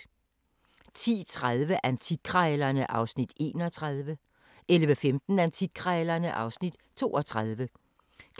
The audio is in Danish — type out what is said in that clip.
10:30: Antikkrejlerne (Afs. 31) 11:15: Antikkrejlerne (Afs. 32)